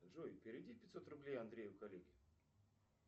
джой переведи пятьсот рублей андрею коллеге